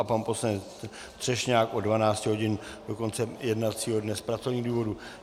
A pan poslanec Třešňák od 12 hodin do konce jednacího dne z pracovních důvodů.